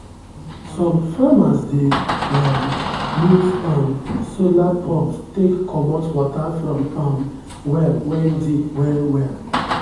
some farmers dey um use um solar pumps take comot water from um well wen deep well well.